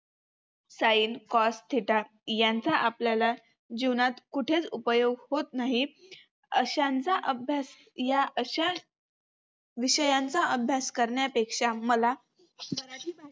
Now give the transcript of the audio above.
Cin cos, theta यांचा आपल्याला जीवनात कुठेच उपयोग होत नाही. अशांचा अभ्यास या अशा विषयांचा अभ्यास करण्यापेक्षा मला